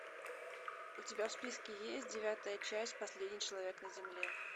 у тебя в списке есть девятая часть последний человек на земле